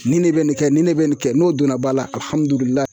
Nin ne bɛ nin kɛ, ni ne bɛ nin kɛ ,n'o donna ba la alihamudulila .